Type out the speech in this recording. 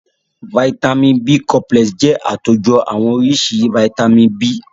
Vàìtamínií B complexi jẹ́ àtòjọ àwọn oríṣi vàìtamínií B.